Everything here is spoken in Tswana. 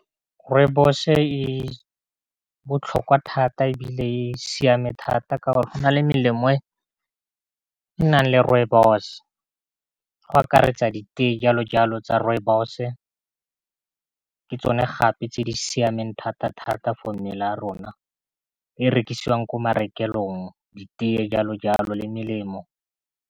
Rooibos e botlhokwa thata e bile e siame thata ka go na le melemo e nang le rooibos, go akaretsa diteye jalo jalo tsa rooibos-e, ka tsone gape tse di siameng thata-thata for mebele ya rona, e rekisiwang kwa marekelong di teye jalo jalo le melemo.